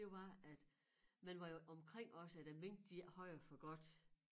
Det var at man var jo omkring også at æ mink de ikke havde det for godt